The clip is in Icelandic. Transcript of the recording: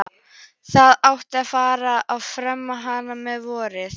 Það átti að fara að ferma hana um vorið.